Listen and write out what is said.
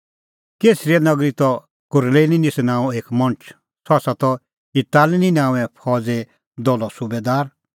कैसरिया नगरी त कुरनेलिस नांओं एक मणछ सह त इतालिनी नांओंऐं फौज़े दलो सुबैदार